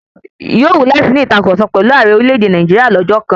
Yóò wú láti ní ìtàkurọ̀sọ pẹ̀lu Ààrẹ orílẹ̀-èdè Nàìjíríà lọ́jọ́ kan